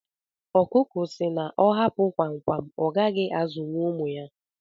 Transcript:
ọkụkụ si na ọ hapụ kwam kwam ọgaghi azụwu ụmụ ya